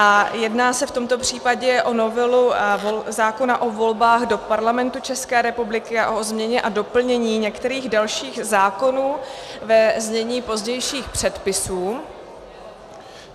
A jedná se v tomto případě o novelu zákona o volbách do Parlamentu České republiky a o změně a doplnění některých dalších zákonů, ve znění pozdějších předpisů.